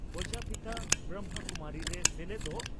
ᱯᱨᱚᱡᱟᱯᱤᱛᱟ ᱵᱨᱚᱢᱦᱚ ᱠᱩᱢᱟᱨᱤ ᱨᱮ ᱥᱮᱞᱮᱫᱚᱜ